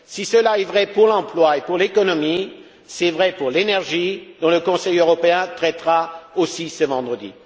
Si cela est vrai pour l'emploi et pour l'économie, c'est vrai pour l'énergie, dont le Conseil européen traitera aussi ce vendredi.